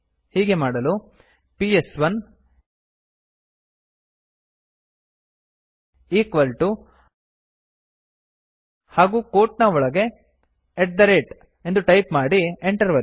ಹೀಗೆ ಮಾಡಲು PS one equal to ಹಾಗೂ ಕೋಟ್ ನ ಒಳಗೆ ಅಟ್ ಥೆ ರೇಟ್ ಎಂದು ಟೈಪ್ ಮಾಡಿ Enter ಒತ್ತಿ